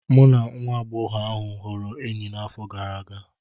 Mụ na nwa agbọghọ ahụ ghọrọ enyi n'afọ gara aga